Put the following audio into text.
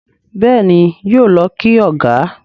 Béèni yóò ló kí ọgá.